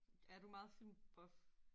Er du meget film buff